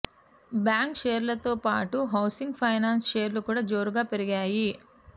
bank షేర్లతో పాటు housing finance షేర్లు కూడా జోరుగా పెరిగాయి